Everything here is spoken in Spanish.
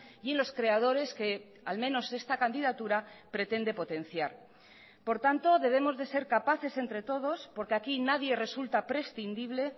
y en los creadores que al menos esta candidatura pretende potenciar por tanto debemos de ser capaces entre todos porque aquí nadie resulta prescindible